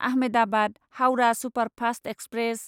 Ahmedabad Howrah superfast express